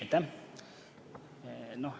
Aitäh!